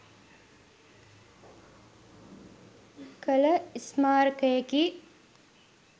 කළ ස්මාරකයකි.